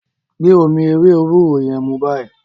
gbé omí ewé ewúro yén mú bayii!